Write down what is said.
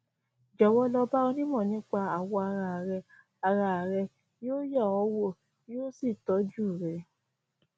jọwọ lọ bá onímọ nípa awọ ara rẹ ara rẹ yóò yẹ ọ wò yóò sì tọjú rẹ